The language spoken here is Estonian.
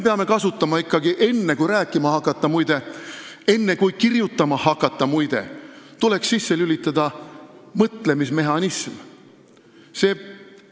Muide, enne rääkimahakkamist ja enne kirjutamahakkamist tuleks meil ikkagi mõtlemismehhanism sisse lülitada.